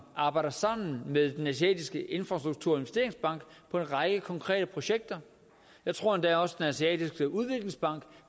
arbejder sammen med den asiatiske infrastrukturinvesteringsbank på en række konkrete projekter jeg tror endda også at den asiatiske udviklingsbank